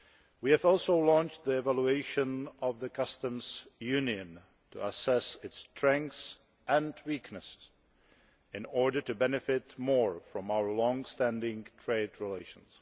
We have also launched the evaluation of the Customs Union to assess its strengths and weaknesses in order to benefit more from our longstanding trade relations.